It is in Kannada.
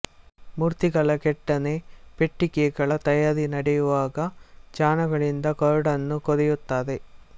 ಮೂರ್ತಿಗಳ ಕೆತ್ತನೆ ಪೆಟ್ಟಿಗೆಗಳ ತಯಾರಿ ನಡೆಯುವಾಗ ಚಾಣಗಳಿಂದ ಕೊರಡನ್ನು ಕೊರೆಯುತ್ತಾರೆ